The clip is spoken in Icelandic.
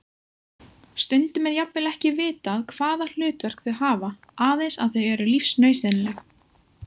Stundum er jafnvel ekki vitað hvaða hlutverk þau hafa, aðeins að þau eru lífsnauðsynleg.